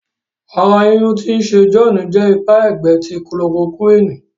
àrà yínyun tí o ṣe John jẹ ipa ẹgbẹ ti chloroquine.